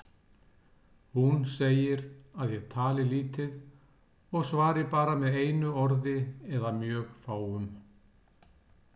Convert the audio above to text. Hún segir að ég tali lítið og svari bara með einu orði eða mjög fáum.